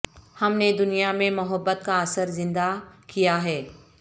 ہم نے دنیا میں محبت کا اثر زندہ کیا ہے